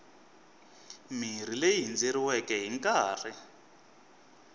mirhi leyi hindzeriweke hi nkarhi